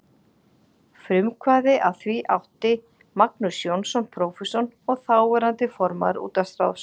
Frumkvæði að því átti Magnús Jónsson, prófessor og þáverandi formaður útvarpsráðs.